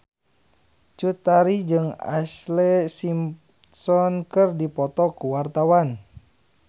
Cut Tari jeung Ashlee Simpson keur dipoto ku wartawan